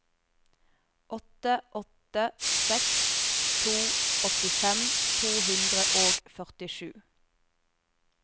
åtte åtte seks to åttifem to hundre og førtisju